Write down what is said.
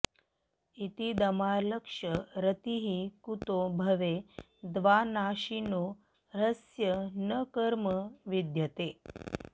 इतीदमालक्ष्य रतिः कुतो भवे द्विनाशिनो ह्यस्य न कर्म विद्यते